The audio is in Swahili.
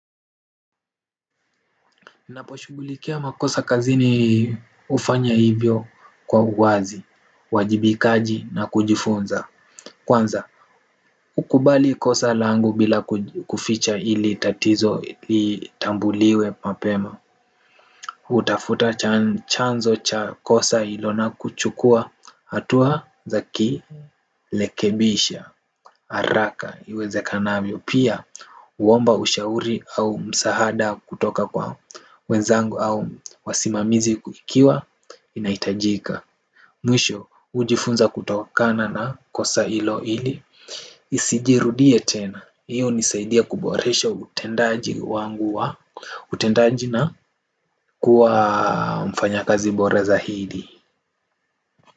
Naposhughulikia makosa kazini hufanya hivyo kwa uwazi, wajibikaji na kujifunza. Kwanza, kukubali kosa langu bila kuficha ili tatizo litambuliwe mapema hutafuta chanzo cha kosa ilo na kuchukua hatua za ki lekebisha, haraka, iwezekanavyo, pia huomba ushauri au msahada kutoka kwa wenzangu au wasimamizi kuikiwa, inahitajika. Mwisho, ujifunza kutokakana na kosa hilo ili, isijirudie tena. Hiyo hunisaidia kuboresha utendaji wangu wa utendaji na kuwa mfanya kazi bora zaidi.